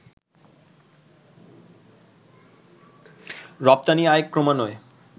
রপ্তানি আয়ে ক্রমান্বয়ে